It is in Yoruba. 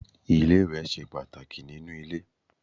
Ilé-iwẹ̀ ṣe pàtàkì nínú ilé.